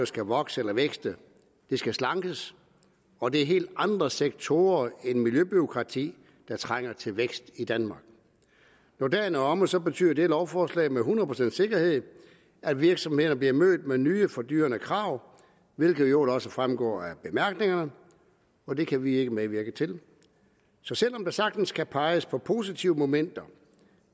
skal vokse eller vækste det skal slankes og det er helt andre sektorer end miljøbureaukrati der trænger til vækst i danmark når dagen er omme betyder dette lovforslag med hundrede procents sikkerhed at virksomhederne bliver mødt med nye og fordyrende krav hvilket i øvrigt også fremgår af bemærkningerne og det kan vi ikke medvirke til så selv om der sagtens kan peges på positive momenter